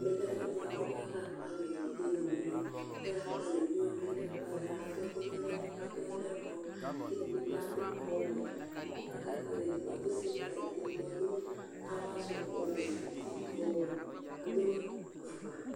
ɛmɛ lɛ ɛfuɛdi bʋa ku aka kpalɛ evidze n'evidze , kaka kpalɛ , evidze wʋani bʋa kaka kpalɛ adu ɛku , adu ɛlu ɛblɔ, k'edigbo bi adu ɔwɛ, ku aka kpalɛ, edigbo adu siglɛt, k'edigbo adu ava du ɔwɛ, uti bi ɔwɛ, adu afukpa